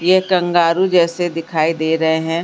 ये कंगारू जैसे दिखाई दे रहे हैं।